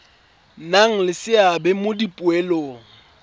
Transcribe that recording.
nna le seabe mo dipoelong